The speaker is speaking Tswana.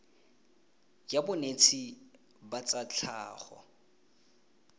ya bonetshi ba tsa tlhago